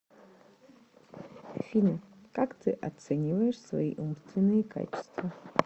афина как ты оцениваешь свои умственные качества